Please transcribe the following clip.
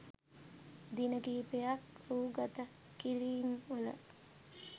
දින කිහිපයක් රූගත කිරීම් වල